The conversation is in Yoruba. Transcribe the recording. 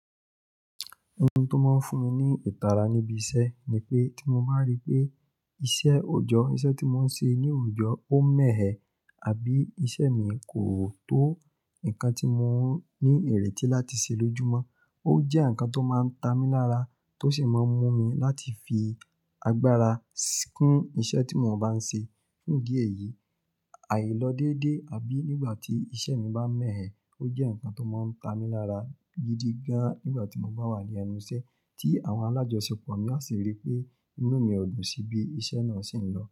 Ohun tó máa ń fún mi ní ìtara níbi iṣẹ́ ni pé tí mo bá rí pé iṣẹ́ òòjọ́, iṣẹ́ tí mo ń ṣe ní òòjọ́ ó mẹ̀ ẹ, àbí iṣẹ́ mi kò tó nǹkan tí mo ní ìrètí láti ṣe lójúmọ́. Ó jẹ́ nǹkan tó máa ń ta mi lára, tó sì máa ń mú mi láti fi agbára kún iṣẹ́ tí mo bá ń ṣe. Fún ìdí èyí, àìlọ́ dédé àbí nígbà tí iṣẹ́ mi bá mẹ̀ ẹ́ ó jẹ́ nǹkan tó máa ń ta mi lára gidi gan, nígbà tí mo bá wà ní ẹnu iṣẹ́ tí àwọn alájọṣọ pọ̀, mo á sì rí pé inú mi ò dùn síbi, iṣẹ́ náà sì ń lọ.